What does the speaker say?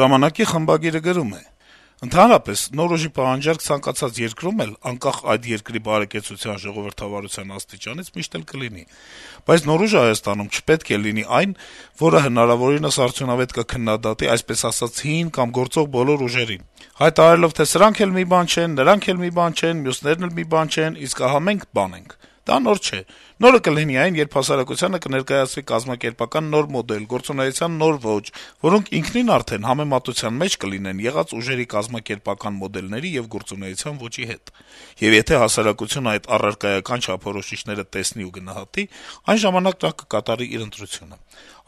«ժամանակ»-ի խմբագիրը գրում է. - «Ընդհանրապես նոր ուժի պահանջարկ ցանկացած երկրում էլ, անկախ այդ երկրի բարեկեցության, ժողովրդավարության աստիճանից, միշտ էլ կլինի: Բայց նոր ուժը Հայաստանում չպետք է լինի այն, որը հնարավորինս արդյունավետ կքննադատի այսպես ասած հին կամ գործող բոլոր ուժերին` հայտարարելով, թե սրանք էլ մի բան չեն, նրանք էլ մի բան չեն, մյուսներն էլ մի բան չեն, իսկ ահա մենք` բան ենք: Դա նոր չէ: Նորը կլինի այն, երբ հասարակությանը կներկայացվի կազմակերպական նոր մոդել, գործունեության նոր ոճ, որոնք ինքնին արդեն համեմատության մեջ կլինեն եղած ուժերի կազմակերպական մոդելների եւ գործունեության ոճի հետ: Եվ եթե հասարակությունը այդ առարկայական չափորոշիչները տեսնի ու գնահատի, այն ժամանակ նա կկատարի իր ընտրությունը: